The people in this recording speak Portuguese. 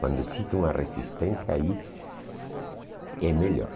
Quando existe uma resistência aí, é melhor.